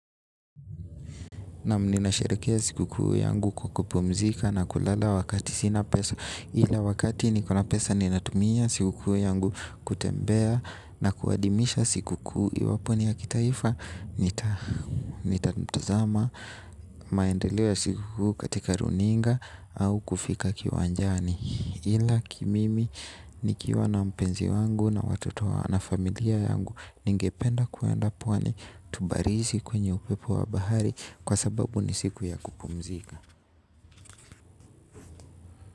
Naam. Ninasherehekea siku kuu yangu kukupumzika na kulala wakati sina pesa ila wakati nikona pesa ninatumia siku kuu yangu kutembea na kuadimisha siku kuu iwapo ni ya kitaifa nitatumtazama maendeleo siku kuu katika runinga au kufika kiwanjani. Ila kimimi, nikiwa na mpenzi wangu na watoto na familia yangu ningependa kuenda pwani tubarizi kwenye upepo wa bahari kwa sababu ni siku ya kupumzika.